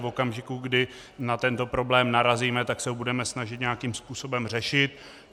V okamžiku, kdy na tento problém narazíme, tak se ho budeme snažit nějakým způsobem řešit.